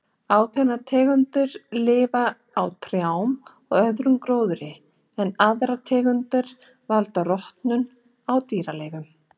Ákveðnar tegundir lif á trjám og öðrum gróðri en aðrar tegundir valda rotnun á dýraleifum.